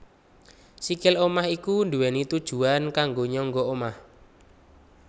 Sikil omah iku duwéni tujuwan kanggo nyangga omah